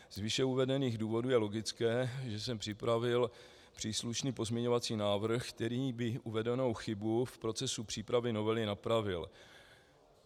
Z výše uvedených důvodů je logické, že jsem připravil příslušný pozměňovací návrh, který by uvedenou chybu v procesu přípravy novely napravil.